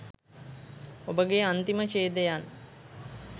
ඔබගේ අන්තිම ඡේදයන්